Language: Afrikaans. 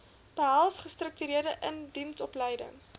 behels gestruktureerde indiensopleiding